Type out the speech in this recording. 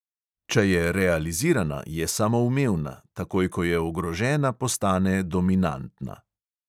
Če je realizirana, je samoumevna, takoj ko je ogrožena, postane dominantna.